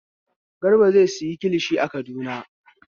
Garba zai sayi kilishi a Kaduna.